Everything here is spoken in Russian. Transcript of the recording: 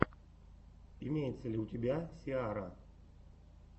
имеется ли у тебя сиара